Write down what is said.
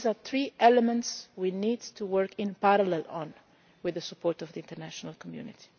These are three elements we need to work on in parallel with the support of the international community.